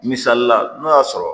Misali la n'o y'a sɔrɔ